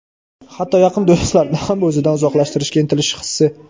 hatto yaqin do‘stlarini ham o‘zidan uzoqlashtirishga intilish hissi.